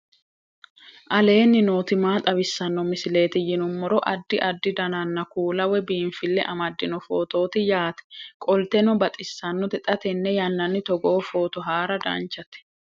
aleenni nooti maa xawisanno misileeti yinummoro addi addi dananna kuula woy biinfille amaddino footooti yaate qoltenno baxissannote xa tenne yannanni togoo footo haara danchate